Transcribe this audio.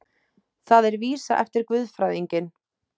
Það er vísa eftir guðfræðinginn